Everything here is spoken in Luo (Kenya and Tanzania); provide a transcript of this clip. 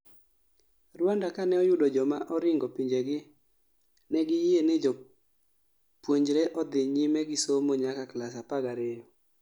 Rwanda kane oyudo joma oringo pinjegi negi yie ne jopunjre odhi nyime gi somo nyaka klas 12